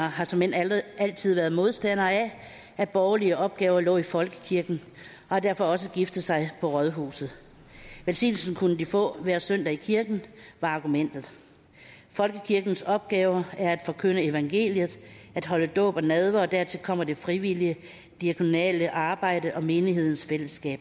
har såmænd altid været modstandere af at borgerlige opgaver lå i folkekirken og har derfor også giftet sig på rådhuset velsignelsen kunne de få hver søndag i kirken var argumentet folkekirkens opgave er at forkynde evangeliet at holde dåb og nadver og dertil kommer det frivillige diakonale arbejde og menighedens fællesskab